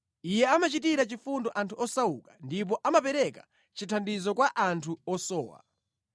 Iye amachitira chifundo anthu osauka ndipo amapereka chithandizo kwa anthu osowa.